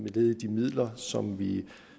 led i de midler som vi